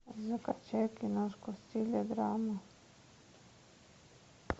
закачай киношку в стиле драма